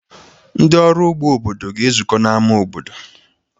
Ndị ọrụ ụgbọ obodo ga-ezukọ n'ámá obodo.